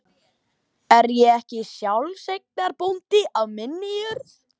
Er ég ekki sjálfseignarbóndi á minni jörð?